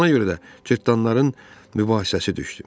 Ona görə də cırtanın mübahisəsi düşdü.